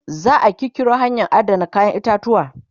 za'a kirkiro hanyan Adana kayan itatuwa